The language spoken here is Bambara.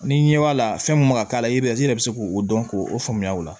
Ni ɲɛ b'a la fɛn min kan ka k'a la i b'a ye i yɛrɛ be se k'o dɔn k'o faamuya o la